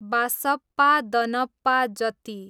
बासप्पा दनप्पा जत्ति